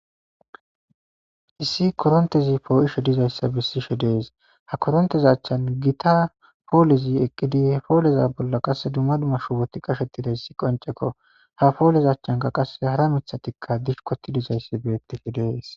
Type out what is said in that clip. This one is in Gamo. Issi korontezi poo'ishe dizayssa bissishe dees ha korontezachchan gita poolizi eqqidi he pooleza bolla qasse dumma dummashu woti qashetidayssi qoncekko ha poolez achchanka qasse hara mithatikka dish koti dizayssi beettifi dees.